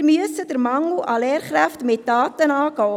Wir müssen den Mangel an Lehrkräften mit Taten angehen.